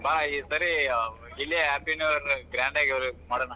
ಬಾ ಈ ಸಾರಿ ಇಲ್ಲೇ happy new year grand ಆಗಿ ಮಾಡೋಣ.